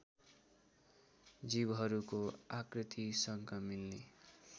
जीवहरूको आकृतिसँग मिल्ने